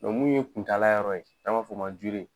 min ye kuntala yɔrɔ ye n'an b'a fɔ o man ko